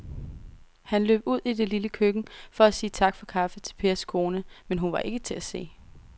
Han løb ud i det lille køkken for at sige tak for kaffe til Pers kone, men hun var ikke til at se.